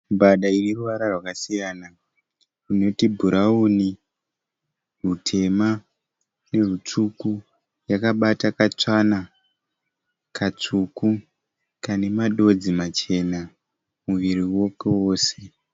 Mbada ine ruvara rwakasiyana runoti bhurawuni, rutema nerutsvuku. Yakabata katsvana katsvuku kane madodzi machena muviri wako wose.